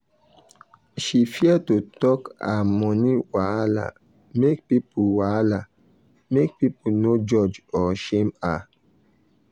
she fear to talk her money wahala make people wahala make people no judge or shame her.